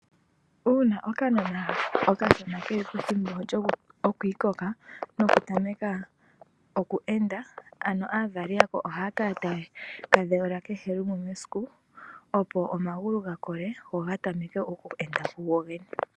Uuna okanona okashona keli pethimbo lyokwiikoka noka tameka okweenda ano aavali yako ohaya kala taye ka dhewula kehe lumwe mesiku opo omagulu ga kole go ga tameke okweenda kugo gene.